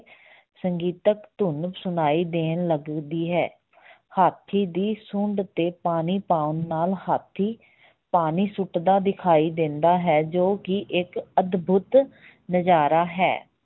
ਸੰਗੀਤਕ ਧੁਣ ਸੁਣਾਈ ਦੇਣ ਲੱਗਦੀ ਹੈ ਹਾਥੀ ਦੀ ਸੁੰਡ ਤੇ ਪਾਣੀ ਪਾਉਣ ਨਾਲ ਹਾਥੀ ਪਾਣੀ ਸੁੱਟਦਾ ਦਿਖਾਈ ਦਿੰਦਾ ਹੈ, ਜੋ ਕਿ ਇੱਕ ਅਦਭੁਤ ਨਜਾਰਾ ਹੈ।